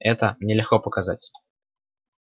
это мне легко показать